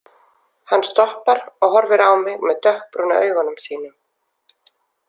Hann stoppar og horfir á mig með dökkbrúnu augunum sínum.